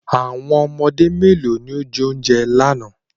How many children ate the food yesterday